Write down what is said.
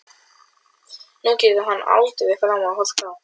Nú getur hann aldrei framar horft á